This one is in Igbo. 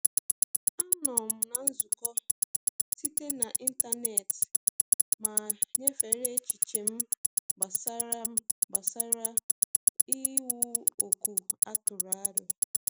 Anọ m na nzukọ site na ịntanetị ma nyefere echiche m gbasara m gbasara iwu ọkụ a tụrụ aro.